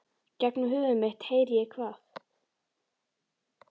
Gegnum höfuð mitt heyri ég hvað